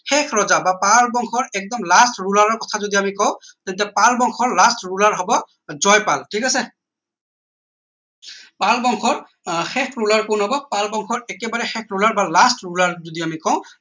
শেষ ৰজা বা পাল বংশৰ একদম last ruler ৰ কথা যদি আমি কওঁ তেতিয়া পাল বংশৰ last ruler ৰ হব জয়পাল ঠিক আছে পাল বংশৰ আহ শেষ কোন হব পাল বংশৰ একেবাৰে শেষ ruler বা last ruler যদি আমি কওঁ